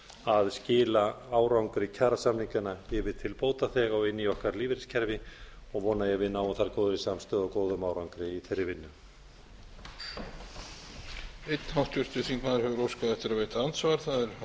að skila árangri kjarasamninganna yfir til bótaþega og inn í okkar lífeyriskerfi og ég vona að við náum þar góðu samstarfi og góðum árangri í þeirri vinnu